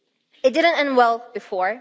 It didn't end well before